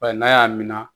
Bari n'a y'a minɛ